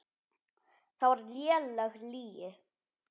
Það var léleg lygi.